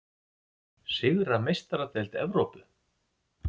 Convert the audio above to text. Sigra Meistaradeild Evrópu?